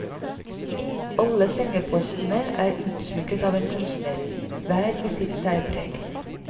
Alle sengepostene er utsmykket av en kunstner, hver med sitt særpreg.